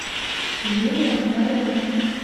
юлия ковалева